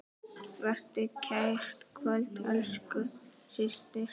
Vertu kært kvödd, elsku systir.